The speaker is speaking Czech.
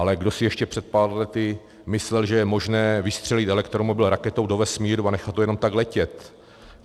Ale kdo si ještě před pár lety myslel, že je možné vystřelit elektromobil raketou do vesmíru a nechat to jenom tak letět?